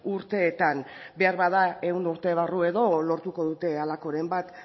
urteetan beharbada ehun urte barru edo lortuko dute halakoren bat